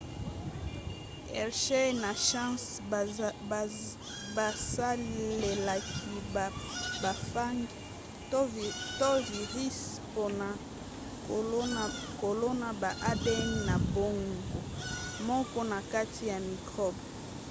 hershey na chase basalelaki ba phages to virisi mpona kolona ba adn na bango moko na kati ya mikrobe